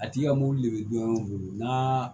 A tigi ka mobili de bɛ don o don n'a